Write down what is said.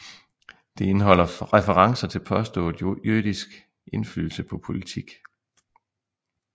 Det indeholdt referencer til påstået jødisk indflydelse på politik